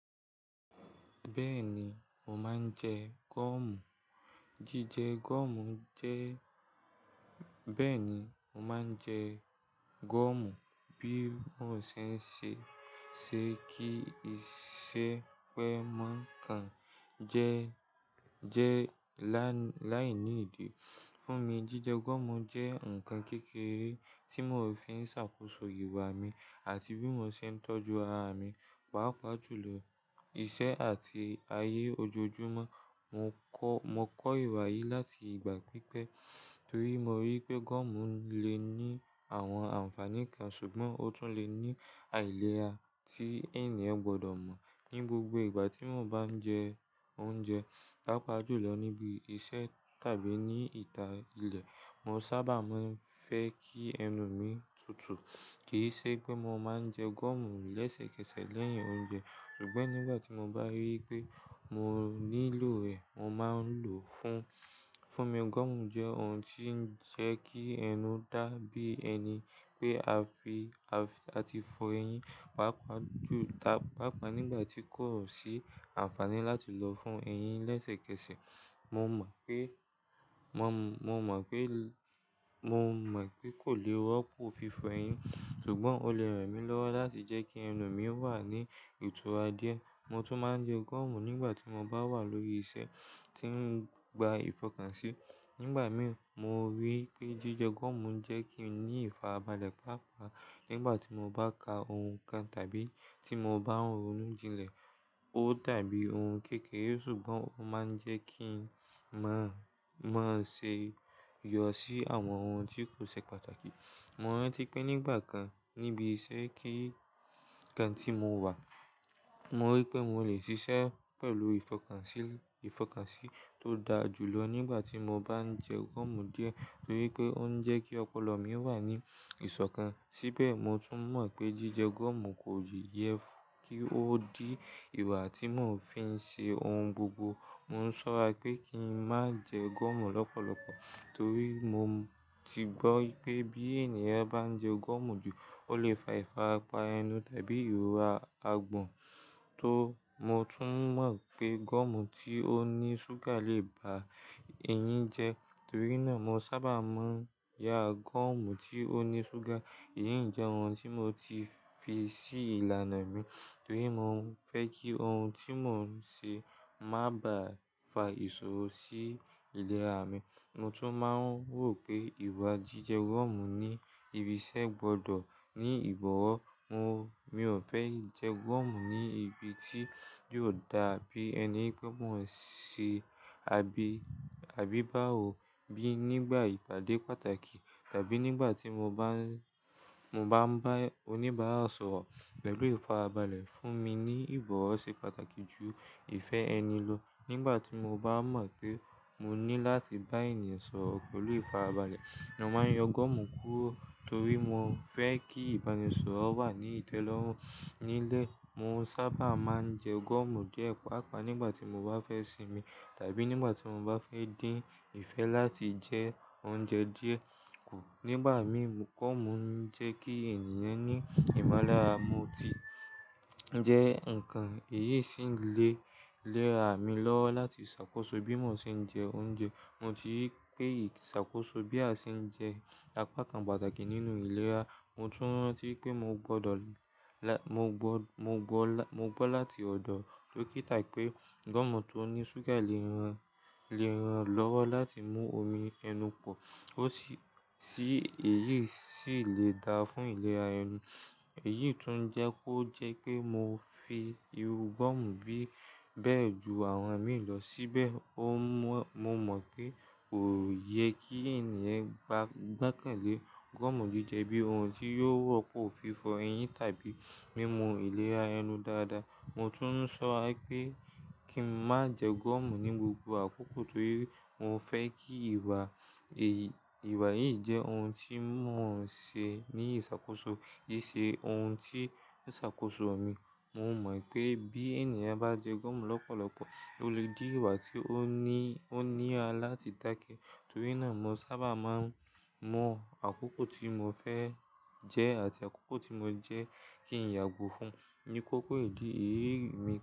Bẹ́ẹ̀ ni, mo máa ń jẹ gọ́ọ̀mù. Jíjẹ gọ́ọ̀mù jẹ́ bẹ́ẹ̀ ni, mo máa ń jẹ gọ́ọ̀mù bí mo ṣe ń ṣe, ṣe kí i ṣe pẹ́ mọ́ káń jẹ́, jẹ́ láì, láìní ìdí. Fún mi, jíjẹ gọ́ọ̀mù jẹ́ ǹkan kékeré tí mò ń fi ń ṣàkóso ìwà mi àti bí mo ṣe ń tọ́jú ara mi, pàápàá jù lọ, iṣẹ́ àti ayé ojoojúmọ́. Mo kọ́, mo kọ́ ìwà yìí láti ìgbà pípẹ́ torí mo rí pé gọ́ọ̀mù lè ní àwọn ànfàní kan ṣùgbọ́n ó tún lè ní àìlera tí ènìyàn gbọ́dọ̀ mọ̀. Ni gbogbo ìgbà tí mo bá ń jẹ oúnjẹ, pàápàá jù lọ níbi iṣẹ́ tàbí ní ìta ilẹ̀, mo sábà máa ń fẹ́ kí ẹnu mi tutù. Kì í ṣe pé mo máa ń jẹ gọ́ọ̀mù lẹ́sẹ̀kẹsẹ̀ lẹ́yìn oúnjẹ ṣùgbọ́n nígbà tí mo bá rí pé mo nílò rẹ̀, mo máa ń lò ó. Fún, fún mi, gọ́ọ̀mù jẹ́ ohun tí ń jẹ́ kí ẹnu dà bí ẹni pé a fi, a ti fọ eyín, pàápàá jù, pàápàá nígbà tí kò sí àǹfààní láti lọ fọ eyín lẹ́sẹ̀kẹsẹ̀. Mo mọ̀ pé, mo mọ̀, mo mọ̀ pé, mo mọ̀ pé kò lè rọ́pò fífọ eyín ṣùgbọ́n ó lè ràn mí lọ́wọ́ láti jẹ́ kí ẹnu mi wà ní ìtura díẹ̀. Mo tún máa ń jẹ gọ́ọ̀mù nígbà tí mo bá wà lórí iṣẹ́ tí ń gba ìfọkànsí. Nígbà mí, mo rí pé jíjẹ gọ́ọ̀mù ń jẹ́ kí n ní ìfàrabalẹ̀ pàápàá nígbà tí mo bá ka ohun kan tàbí tí mo bá ń ronú jilẹ̀. Ó dàbí ohun kékeré ṣùgbọ́n ó máa ń jẹ́ kí ń má, má ṣe yọ̀ sí àwọn ohun tí kò ṣe pàtàkì. Mo rántí pé nígbà kan níbi iṣẹ́ kekere kan tí mo wà, mo rí pé mo lè ṣiṣẹ́ pẹ̀lú ìfọkànsí, ìfọkànsí tó dáa jù lọ nígbà tí mo bá ń jẹ gọ́ọ̀mù díẹ̀ torí pé ó ń jẹ́ kí ọpọlọ mí wà ní ìsọ̀kan. Síbẹ̀, mo tún mọ̀ pé jíjẹ gọ́ọ̀mù kò yẹ kí ó di ìwà tí mò ń fi ń ṣe ohun gbogbo. Mo ń ṣọ́ra pé kí n má jẹ gọ́ọ̀mù lọ́pọ̀lọpọ̀ torí mo ti gbọ́ pé bí ènìyàn bá ń jẹ gọ́ọ̀mù jù, ó lè fa ìfarapa ẹnu tàbí ìrora agbọ̀n. Tó, mo tún mọ̀ pé gọ́ọ̀mù tí ó ní ṣúgà lè ba ẹyin jẹ́. Torí náà, mo sábà máa ń ya gọ́ọ̀mù tí ó ní ṣúgà. Èyí ń jẹ́ ohun tí mo ti fi sí ìlànà mi torí mo fẹ́ kí ohun tí mò ń ṣe má bá fa ìṣòro sí ìlera mi. Mo tún máa ń rò pé ìwà jíjẹ gọ́ọ̀mù ní ibi iṣẹ́ gbọ́dọ̀ ní ìbọ̀wọ̀. Mo, mi ò fẹ́ jẹ gọ́ọ̀mù ní ibi tí yóò dàbí ẹni pé mò ń ṣe abi, abíbáwo bí nígbà ìtàdé pàtàkì tàbí nígbà tí mo bá ń, mo bá ń bá oníbàá sọ̀rọ̀ pẹ̀lú ìfarabalẹ̀ fún mi ní ìbọ̀wọ̀ ṣe pàtàkì jù ìfẹ́ ẹni lọ. Nígbà tí mo bá mọ̀ pé mo ní láti bá ènìyàn sọ̀rọ̀ pẹ̀lú ìfarabalẹ̀, mo máa ń yan gọ́ọ̀mù kúrò torí mo fẹ́ kí ìbánisọ̀rọ̀ wà ní ìtẹ́lọ́rùn. Nílé, mo sábà máa ń jẹ gọ́ọ̀mù díẹ̀ pàápàá nígbà tí mo bá fẹ́ sinmi tàbí nígbà tí mo bá fẹ́ dín ìfẹ́ láti jẹ oúnjẹ díẹ̀. Kù, nígbà mi, gọ́ọ̀mù ń jẹ́ kí ènìyàn ní ìmúlára. Mo ti jẹ́ ǹkan èyí sì ń lè léra mi lọ́wọ́ láti ṣàkóso bí mò ń ṣe ń jẹ oúnjẹ. Mo ti rí pé iṣàkóso bí a ṣe ń jẹ apa kan pàtàkì nínú ìlera. Mo tún rántí pé mo gbọ́ lọ, mo gbọ́, mo gbọ́, mo gbọ́ láti ọ̀dọ̀ dókítà pé gọ́ọ̀mù tó ní ṣúgà lè ran, lè ran lọ́wọ́ láti mú omi ẹnu pọ̀. Ó sì, sì èyí sì lè dáa fún ìlera ẹni. Èyí tún jẹ́ kó jẹ́ pé mo fi irú gọ́ọ̀mù bí bẹ́ẹ̀ ju àwọn mì lọ síbẹ̀, mo mọ̀ pé kò yẹ kí ènìyàn gbá, gbẹ́kẹ̀lé gọ́ọ̀mù jíjẹ bí ohun tí yóò rọ́pò fífọ ẹyin tàbí mímú ìlera ẹnu dáadáa. Mo tún ń ṣọ́ra pé kí n má jẹ gọ́ọ̀mù ní gbogbo àkókò torí mo fẹ́ kí ìwà yìí jẹ́ ohun tí mò ń ṣe ní ìṣàkóso. Ki ṣe ohun tí ń ṣàkóso mi. Mo mọ̀ pé bí ènìyàn bá jẹ gọ́ọ̀mù lọ́pọ̀lọpọ̀, ó lè di ìwà tí ó ní, ó níra láti dákẹ́. Torí náà, mo sábà máa ń mọ àkókò tí mo fẹ́ jẹ àti àkókò tí mo jẹ́ kí n yàgò fún. Ni kókó ìdí, èyí mi.